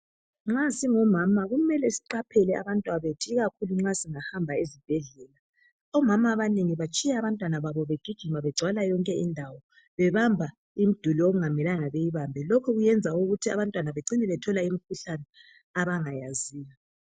nxasingomama kumele siqhaphele abantwana bethu ikakhulu nxa sihamba esibhedlela omama abanengi batshiya abantwana babo begijima begcwala yonke indawo bebamba imiduli okungamelanga beyibambe lokhokuyenza ukuba abantwana becina betholaimikhuhlane abangayaziyo